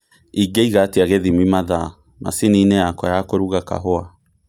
Ingĩiga atĩa gĩthimi mathaa macini-inĩ yakwa ya kũruga kahũa?